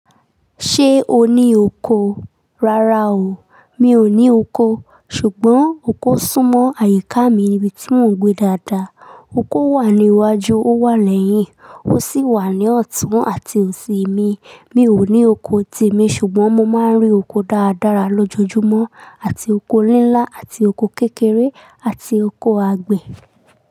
Ṣé o ní oko? Rárá o. Mi ò ní oko. Ṣùgbọ́n oko sún mọ àyíká mi níbi tí mò ń gbé dáadáa. Oko wà ní iwájú, ó wà lẹ́yìn, ó sì wà ní ọ̀tún àti òsì mi. Mi ò ní oko temi ṣùgbọ́n mo máa ń rí oko dáradára lójoojúmọ́, àti oko líńlá àti oko kékeré àti oko àgbẹ̀.